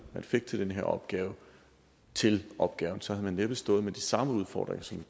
man fik til den her opgave til opgaven så havde man næppe stået med de samme udfordringer som